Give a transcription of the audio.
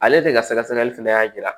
Ale de ka sɛgɛsɛgɛli fɛnɛ y'a jira